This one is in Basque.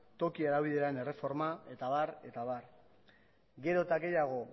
toki erabileraren erreforma eta abar eta abar gero eta gehiago